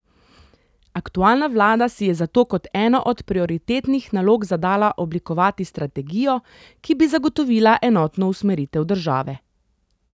Aktualna vlada si je zato kot eno od prioritetnih nalog zadala oblikovati strategijo, ki bi zagotovila enotno usmeritev države.